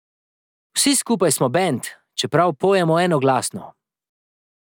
Vsi skupaj smo bend, čeprav pojemo enoglasno.